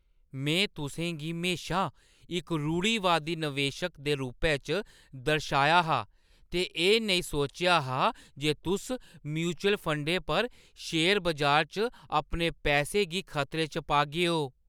में तुसें गी म्हेशा इक रूढ़िवादी नवेशक दे रूपै च दर्शाया हा ते एह् नेईं सोचेआ हा जे तुस म्यूचुअल फंडें पर शेयर बजार च अपने पैसे गी खतरे च पागेओ।